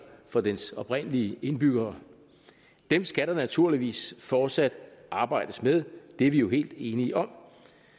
for dens oprindelige indbyggere skal der naturligvis fortsat arbejdes med det er vi jo helt enige om